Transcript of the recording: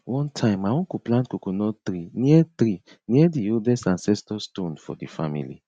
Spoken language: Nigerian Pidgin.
one time my uncle plant coconut tree near tree near di oldest ancestor stone for di family